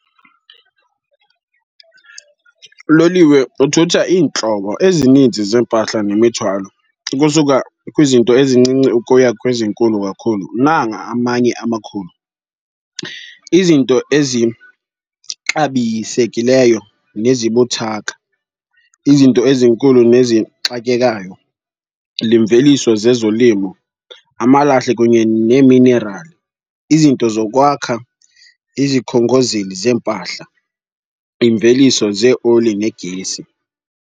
Uloliwe uthutha iintlobo ezininzi zeempahla nemithwalo, ukusuka kwizinto ezincinci ukuya kwezinkulu kakhulu. Nanga amanye amakhulu, izinto ezixabisekileyo nezibuthaka, izinto ezinkulu nezixakekayo, limveliso zezolimo, amalahle kunye neeminerali, izinto zokwakha, izikhongozeli zeempahla, iimveliso zeeoli negesi.